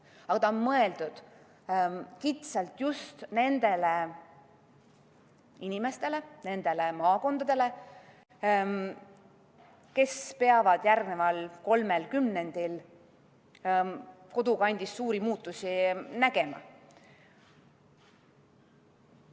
Aga ta on mõeldud kitsalt just nendele inimestele, nendele maakondadele, kes peavad järgneval kolmel kümnendil kodukandis suuri muutusi nägema.